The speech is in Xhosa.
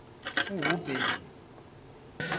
uhuben